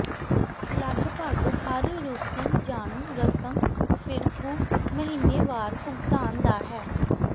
ਲਗਭਗ ਹਰ ਰੂਸੀ ਜਾਣੂ ਰਸਮ ਫਿਰਕੂ ਮਹੀਨੇਵਾਰ ਭੁਗਤਾਨ ਦਾ ਹੈ